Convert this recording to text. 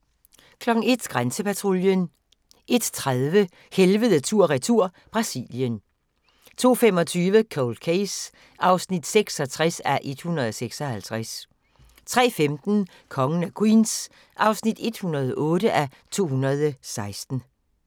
01:00: Grænsepatruljen 01:30: Helvede tur/retur - Brasilien 02:25: Cold Case (66:156) 03:15: Kongen af Queens (108:216)